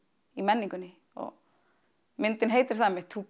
í menningunni myndin heitir það einmitt to